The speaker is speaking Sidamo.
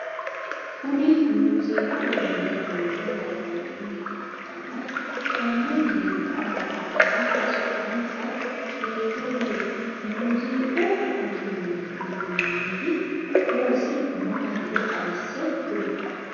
Kunni muuziiqu uduune duune woroonni mine ikanna Kone mine nooha baalanka su'mansa kiirte kuli? Muuziiqu uduunniti horosi maatiro xawise kuli?